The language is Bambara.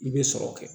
I bɛ sɔrɔ kɛ